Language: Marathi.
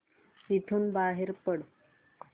इथून बाहेर पड